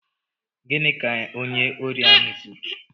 Gịnị ka onye órí ahụ zụrụ?